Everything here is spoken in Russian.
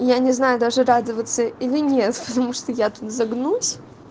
я не знаю даже радоваться или нет потому что я тут загнусь